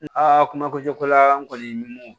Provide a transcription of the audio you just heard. Aa kuma kojugukola n kɔni